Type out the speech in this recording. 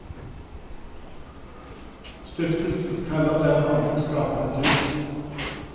Stiftelsen kaller det en holdningsskapende tur.